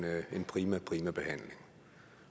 prima prima behandling